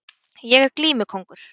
Ég er glímukóngur